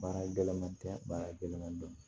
Baara gɛlɛnman tɛ baara gɛlɛnman dɔ ye